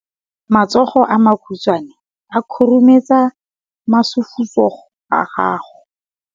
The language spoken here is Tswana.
Matsogo a makhutshwane a khurumetsa masufutsogo a gago.